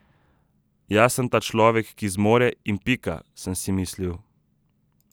Jaz sem ta človek, ki zmore, in pika, sem si mislil.